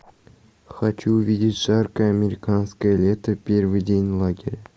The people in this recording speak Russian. хочу увидеть жаркое американское лето первый день лагеря